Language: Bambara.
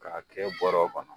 K'a kɛ bɔrɔ kɔnɔ